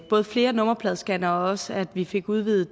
både flere nummerpladescannere og også at vi fik udvidet